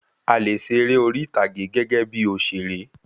A lè ṣe eré onitan gẹgẹ bí òṣèré